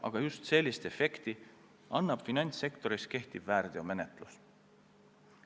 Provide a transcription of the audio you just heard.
Aga just sellist efekti annabki finantssektoris kehtiv väärteomenetlus.